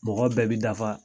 Mɔgɔ bɛɛ bi dafa